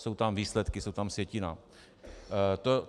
Jsou tam výsledky, je tam sjetina.